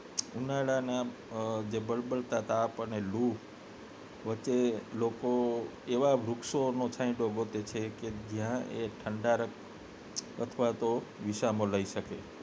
ઉનાળાના જે બળબળતા તાપ અને લૂ વચ્ચે લોકો એવા વૃક્ષોનો છાયડો ગોતે છે કે જયાં એ ઠંડાંકરક અથવા તો વિસામો લઇ શકે